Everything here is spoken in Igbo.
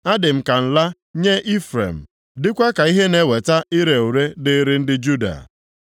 Adị m ka nla nye Ifrem, dịkwa ka ihe na-eweta ire ure dịịrị ndị Juda.